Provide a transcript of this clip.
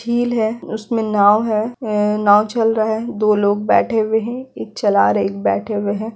झील है उसमे नाव है उम नाव चल रहा है दो लोग बैठे हुए है एक चला रहे एक बैठे हुए है।